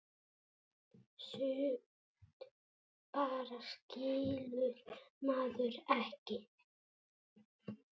Sumt bara skilur maður ekki.